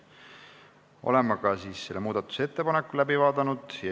Oleme muudatusettepaneku läbi vaadanud.